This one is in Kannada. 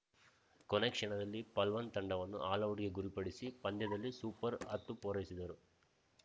ಕೊನೆ ಕ್ಷಣದಲ್ಲಿ ಪಲ್ಟನ್‌ ತಂಡವನ್ನು ಆಲೌಟ್‌ಗೆ ಗುರಿಪಡಿಸಿ ಪಂದ್ಯದಲ್ಲಿ ಸೂಪರ್‌ ಹತ್ತು ಪೂರೈಸಿದರು